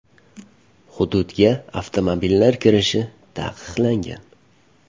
Hududga avtomobillar kirishi taqiqlangan.